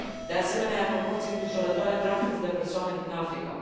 De asemenea, ia proporții îngrijorătoare traficul de persoane din Africa.